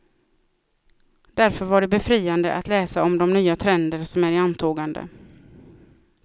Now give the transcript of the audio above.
Därför var det befriande att läsa om de nya trender som är i antågande.